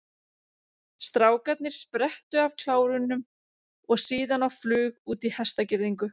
Strákarnir sprettu af klárunum og síðan á flug út í hestagirðingu.